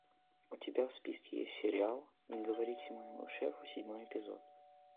у тебя в списке есть сериал не говорите моему шефу седьмой эпизод